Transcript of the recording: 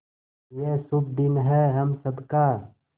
ये शुभ दिन है हम सब का